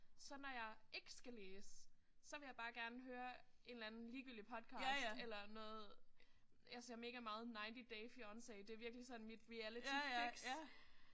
Så når jeg ikke skal læse så vil jeg bare gerne høre en eller anden ligegyldig podcast eller noget. Jeg ser megameget 90 Day Fiancé det er virkelig sådan mit realityfix